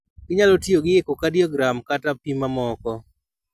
Gi nyalo tiyo gi echocardiogram kata pim mamoko.